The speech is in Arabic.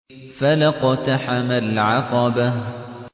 فَلَا اقْتَحَمَ الْعَقَبَةَ